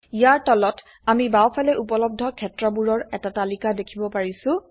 ইয়াৰ তলত আমি বাওফালে উপলব্ধ ক্ষেত্ৰবোৰৰ এটা তালিকা দেখিব পাৰিছো